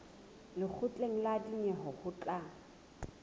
lekgotleng la dinyewe ho tla